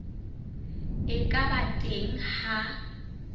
e ka ba teng ha